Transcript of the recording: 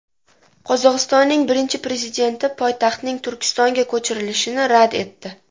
Qozog‘istonning birinchi prezidenti poytaxtning Turkistonga ko‘chirilishini rad etdi.